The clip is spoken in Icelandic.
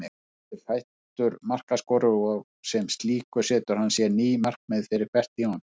Albert er fæddur markaskorari og sem slíkur setur hann sér ný markmið fyrir hvert tímabil.